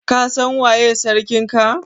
Ka San waye sarkin ka?